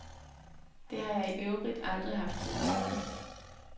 Det har jeg i øvrigt aldrig haft siden.